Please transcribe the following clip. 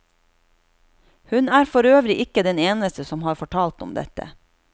Hun er forøvrig ikke den eneste som har fortalt om dette.